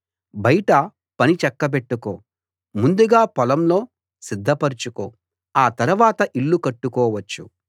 బయట పని చక్కబెట్టుకో ముందుగా పొలంలో సిద్ధపరచుకో ఆ తరవాత ఇల్లు కట్టుకోవచ్చు